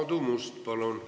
Aadu Must, palun!